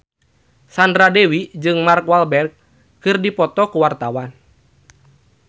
Sandra Dewi jeung Mark Walberg keur dipoto ku wartawan